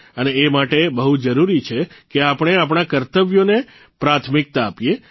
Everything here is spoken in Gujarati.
અને એ માટે બહુ જરૂરી છે કે આપણે આપણા કર્તવ્યોને પ્રાથમિકતા આપીએ